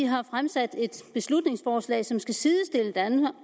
har fremsat et beslutningsforslag som skal sidestille